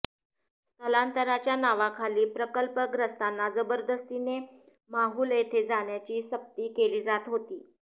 स्थलांतराच्या नावाखाली प्रकल्पग्रस्तांना जबरदस्तीने माहुल येथे जाण्याची सक्ती केली जात होती